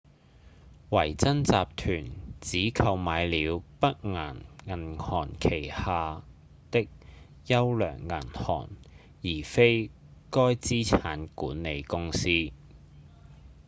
維珍集團只購買了北岩銀行旗下的「優良銀行」而非該資產管理公司